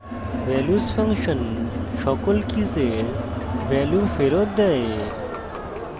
values function সকল কীসের value ফেরত দেয়